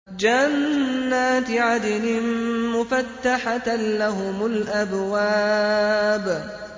جَنَّاتِ عَدْنٍ مُّفَتَّحَةً لَّهُمُ الْأَبْوَابُ